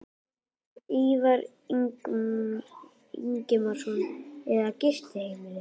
Ívar Ingimarsson: Eða gistiheimilið?